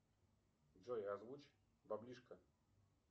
джой озвучь баблишко